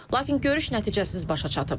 Lakin görüş nəticəsiz başa çatıb.